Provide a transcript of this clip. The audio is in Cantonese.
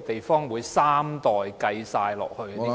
地方會把三代都計算在內？